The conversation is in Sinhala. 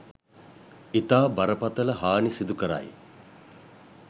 ඉතා බරපතල හානි සිදු කරයි.